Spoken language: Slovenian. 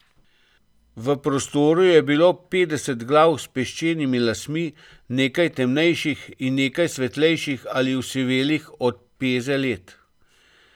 V prostoru je bilo petdeset glav s peščenimi lasmi, nekaj temnejših in nekaj svetlejših ali osivelih od peze let.